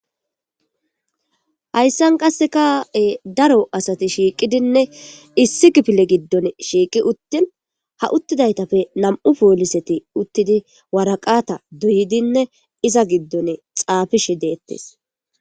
hayssan qasseka daro asati shiiqidinne issi gipile giddon shiiqi uttin ha uttidaytappe nam7u pooliseti uttidi waraqata doyidinne iza giddon xaafishi deettes